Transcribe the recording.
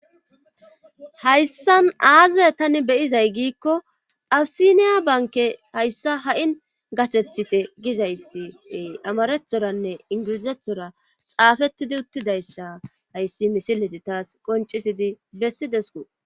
hayssan aaze tani beyizay giikko awisiniya banke hayssa ha7in gasethite gizayssie amarethoranne ingilizethora xaafettidi uttidayssa hayssi misilesi taas qoncisidi bessi desku